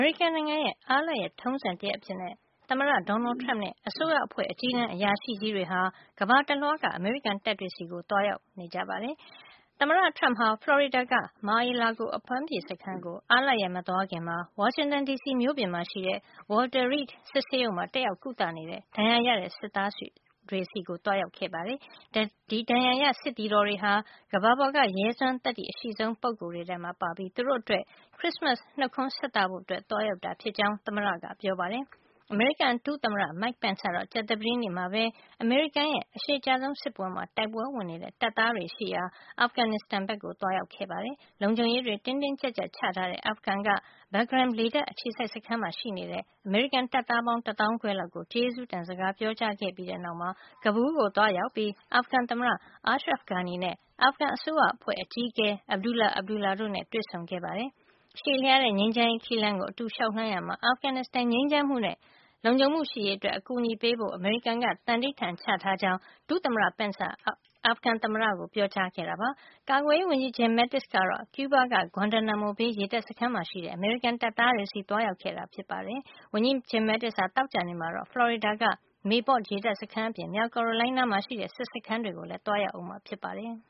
ရိကန်နိုင်ငံရဲ့ အားလပ်ရက် ထုံးစံတရပ်အဖြစ် သမ္မတ Donald Trump နဲ့ အစိုးရအဖွဲ့ အကြီးတန်း အရာရှိကြီးတွေဟာ ကမ္ဘာတလွှားက အမေရိကန် တပ်တွေ ဆီ သွားရောက်နေကြပါတယ်။ သမ္မတ Trump ဟာ ဖလော်ရီဒါက Mar-a-Lago အပမ်းဖြေစခန်းကို အားလပ်ရက် မသွားခင်မှာ ဝါရှင်တန် ဒီစီ မြို့ပြင်မှာ ရှိတဲ့ Walter Reed စစ်ဆေးရုံမှာ တက်ရောက် ကုသနေတဲ့ ဒဏ်ရာရတဲ့ စစ်သားတွေဆီ သွားရောက်ခဲ့ပါတယ်။ ဒီ ဒဏ်ရာရ စစ်သည်တော်တွေဟာ ကမ္ဘာပေါ်က ရဲစွမ်း သတ္တိ အရှိဆုံး ပုဂ္ဂိုလ်တွေဖြစ်ပြီး သူတို့အတွက် ခရစ်စမတ် နှုတ်ခွန်းဆက်သဖို့ သွားရောက်တာ ဖြစ်ကြောင်း သမ္မတက ပြောပါတယ်။ အမေရိကန် ဒုသမ္မတ Mike Pence ကတော့ ကြာသပတေးနေ့မှာပဲ အမေရိကန်ရဲ့ အရှည်ကြာဆုံး စစ်ပွဲမှာ တိုက်ပွဲဝင်နေတဲ့ တပ်သားတွေ ရှိရာ အာဖဂန်နစ်စတန် ကို သွားရောက်ခဲ့ပါတယ်။ လုံခြုံရေးတွေ တင်းတင်းကြပ်ကြပ် ချထားတဲ့ အာဖဂန်က Bagram လေတပ် အခြေစိုက် စခန်းမှာ ရှိနေတဲ့ တပ်သားပေါင်း တသောင်းခွဲလောက်ကို ကျေးဇူးတင် စကား ပြောကြားခဲ့ပြီးတဲ့ နောက်မှာ Kabul ကို သွားရောက်ပြီး အာဖဂန် သမ္မတ Ashraf Ghani နဲ့ အာဖဂန် အစိုးရအဖွဲ့အကြီးအကဲ Abdullah Abdullah တို့နဲ့ တွေ့ဆုံခဲ့ပါတယ်။ ရှည်လျားတဲ့ ငြိမ်းချမ်းရေး ခရီးလမ်းကို အတူလျှောက်လှမ်း ရာမှာ အာဖဂန်နစ်စတန် ငြိမ်းချမ်းမှုနဲ့ လုံခြုံမှုရှိရေးအတွက် အကူညီပေးဖို့ အမေရိကန်က သံဓိဌာန်ချထားကြောင်း ဒုသမ္မတ Pence က အာဖဂန် သမ္မတ Ghani ကို ပြောကြားခဲ့ပါတယ်။ ကာကွယ်ရေး ဝန်ကြီး Jim Mattis ကတော့ ကျူးဘားက Guantanamo Bay ရေတပ် စခန်းမှာ ရှိတဲ့ အမေရိကန် တပ်သားတွေ ဆီ သွားရောက်ခဲ့တာပါ။ ဝန်ကြီး Jim Mattis ဟာ သောကြာနေ့မှာတော့ ဖလော်ရီဒါက Mayport ရေတပ်စခန်း အပြင် မြောက် ကာရိုလိုင်းနားမှာ ရှိတဲ့ စစ်စခန်းတွေကိုလည်း သွားရောက်မှာ ဖြစ်ပါတယ်